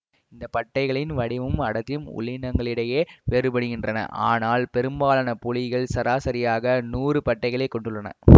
இந்த பட்டைகளின் வடிவமும் அடர்த்தியும் உள்ளினங்களிடையே வேறுபடுகின்றன ஆனால் பெரும்பாலான புலிகள் சராசரியாக நூறு பட்டைகளைக் கொண்டுள்ளன